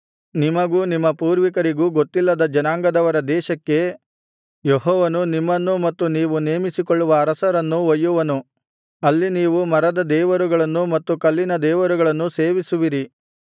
ನಿಮಗೂ ನಿಮ್ಮ ಪೂರ್ವಿಕರಿಗೂ ಗೊತ್ತಿಲ್ಲದ ಜನಾಂಗದವರ ದೇಶಕ್ಕೆ ಯೆಹೋವನು ನಿಮ್ಮನ್ನೂ ಮತ್ತು ನೀವು ನೇಮಿಸಿಕೊಳ್ಳುವ ಅರಸರನ್ನೂ ಒಯ್ಯುವನು ಅಲ್ಲಿ ನೀವು ಮರದ ದೇವರುಗಳನ್ನೂ ಮತ್ತು ಕಲ್ಲಿನ ದೇವರುಗಳನ್ನೂ ಸೇವಿಸುವಿರಿ